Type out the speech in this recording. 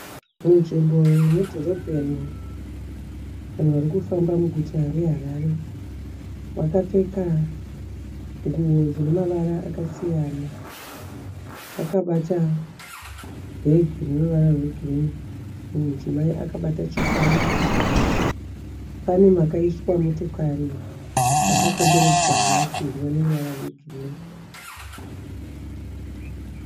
Munzvimbo yemudhorobheni. Vanhu vari kufamba muguta reHarare. Vakapfeka nguo dzine mavara akasiyana. Vakabata bhegi rine ruvara rwegirini. Mumwe mudzimai akabata chikwama. Pane makaiswa motokari makakomberedzwa nemasimbi ane ruvara rwegirini.